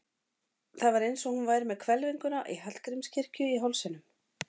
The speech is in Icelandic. Það var eins og hún væri með hvelfinguna í Hallgrímskirkju í hálsinum.